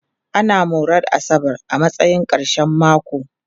Ana moran asabar a matsayin ƙarshen mako.